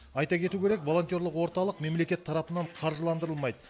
айта кету керек волонтерлық орталық мемлекет тарапынан қаржыландырылмайды